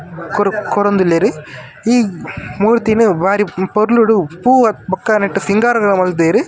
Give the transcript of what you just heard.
ಕೊರೊ ಕೊರೊಂದುಲ್ಲೆರ್ ಈ ಮೂರ್ತಿನು ಬಾರಿ ಪೊರ್ಲುಡು ಪೂ ಅತ್ ಬೊಕ ನೆಟ್ ಸಿಂಗಾರಲ ಮಲ್ದೆರ್.